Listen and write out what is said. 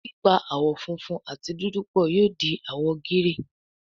pipa àwo fúnfún àti dúdú pọ yóò di àwo gíréè